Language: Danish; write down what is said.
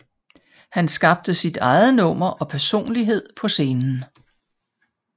Han skabte sit eget nummer og personlighed på scenen